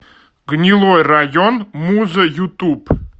гнилой район муза ютуб